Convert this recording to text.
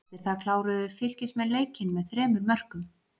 Eftir það kláruðu Fylkismenn leikinn með þremur mörkum.